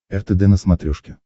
ртд на смотрешке